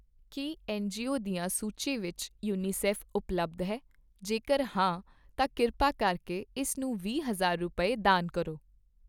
ਕੀ N G O ਦੀਆਂ ਸੂਚੀ ਵਿੱਚ, ਯੂਨੀਸੈਫ ਉਪਲੱਬਧਹੈ? ਜੇਕਰ ਹਾਂ ਤਾਂ ਕਿਰਪਾ ਕਰਕੇ ਇਸ ਨੂੰ ਵੀਹ ਹਜ਼ਾਰ ਰੁਪਏ, ਦਾਨ ਕਰੋ।